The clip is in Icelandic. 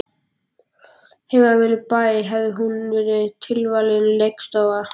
Heima við bæ hefði hún verið tilvalin leikstofa.